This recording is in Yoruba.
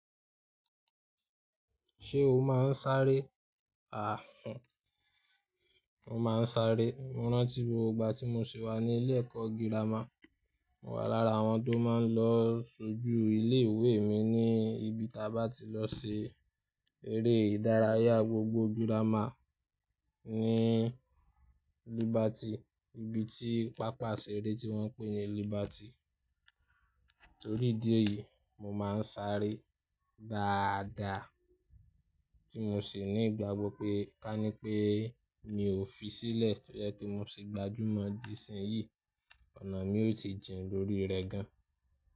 Ṣé o máa ń sáré? Mo máa ń sáré. Mo rántí gbogbo ìgbà tí mo ṣì wà ní ilé ẹ̀kọ́ girama. Mo wà lára àwọn tó máa ń lọ ṣojú ilé ìwé mi ní ibi táa bá ti lọ ṣe eré ìdárayá gbogbo girama ní Liberty, ibi tí pápá ìṣeré tí wọ́n pè ní Liberty. Torí ìdí èyí, mo máa ń sáré dáadáa tí mo sì ní ìgbàgbọ́ pé ká ní pé mi ò fi sílẹ̀ tó jẹ́ pé mo ṣì gbajúmọ̀ dìsinyìí, ọ̀nà mi ó ti jìn lórí rẹ̀ gan-an.